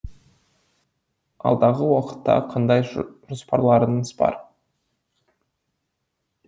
алдағы уақытта қандай жоспарларыңыз бар